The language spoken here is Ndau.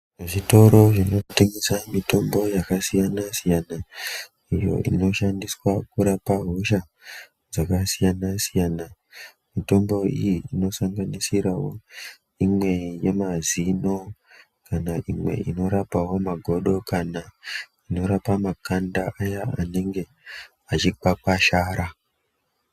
Zvitori zvinotengesa mitombo yakasiyana-siyana, iyo inoshandiswa kurapa hosha dzakasiyana-siyana. Mitombo iyi inosanganisirawo, imwe yemazino, kana imwe inorapawo magodo, kana inorapa makanda, aya anonga achi kwakwashara.